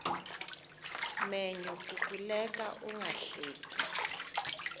menyo kukuleka ungahleki